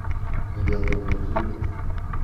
Mi betut ne kiibut?